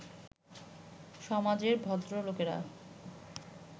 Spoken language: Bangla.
সমাজের ভদ্রলোকেরা